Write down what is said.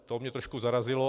To mě trošku zarazilo.